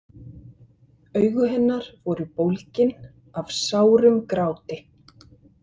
Augu hennar voru bólgin af sárum gráti.